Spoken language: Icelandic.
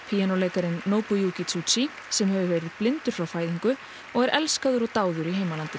píanóleikarinn Nobuyuki Tsujii sem hefur verið blindur frá fæðingu og er elskaður og dáður í heimalandinu